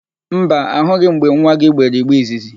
Mba, ahụghị m mgbe nwa gị gbere igbe izizi.